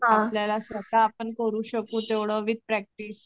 आपल्याला स्वतः आपण करू शकू तेवढ विथ प्रॅक्टिस